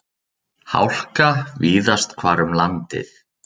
Hálka víðast hvar um landið